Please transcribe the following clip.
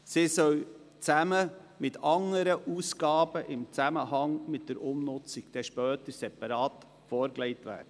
Diese sollen zusammen mit anderen Ausgaben im Zusammenhang mit der Umnutzung später separat vorgelegt werden.